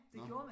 Nåh